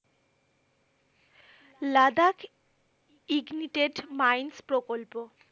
Ladakh ignited mines প্রকল্প,